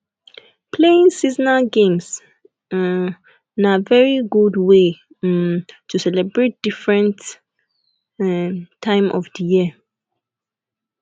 playing seasonal games um na very good way um to celebrate different um time of di year